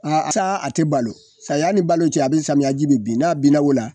A taa a te balo saya ni balo cɛ a be samiyaji be bin n'a binna o la